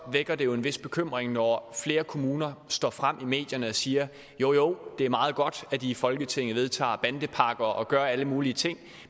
vækker det jo en vis bekymring når flere kommuner står frem i medierne og siger jo jo det er meget godt at i i folketinget vedtager bandepakker og gør alle mulige ting